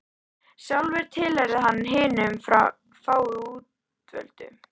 Sjálfur tilheyrði hann hinum fáu útvöldu.